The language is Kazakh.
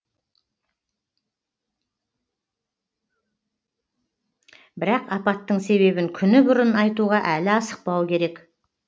бірақ апаттың себебін күні бұрын айтуға әлі асықпау керек